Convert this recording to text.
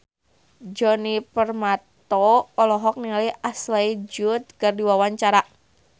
Djoni Permato olohok ningali Ashley Judd keur diwawancara